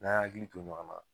N'an y'an hakili to ɲɔgɔ na